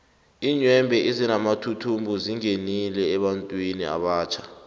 iinyembhe ezinamathuthumbo zingenile ebantwini abatjha